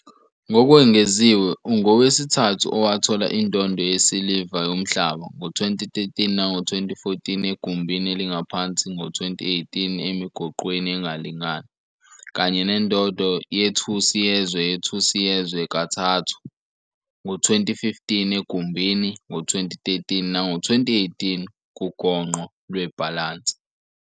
Ngokwengeziwe, ungowesithathu owathola indondo yesiliva Yomhlaba, ngo-2013 nango-2014 egumbini elingaphansi, ngo-2018 emigoqweni engalingani, kanye nendondo yethusi yezwe yethusi yezwe kathathu, ngo-2015 egumbini, ngo-2013 nango-2018 kugongqo lwebhalansi.